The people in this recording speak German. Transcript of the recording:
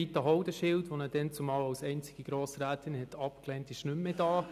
Rita Haudenschild, die diesen damals als einzige Grossrätin ablehnte, ist nicht mehr hier.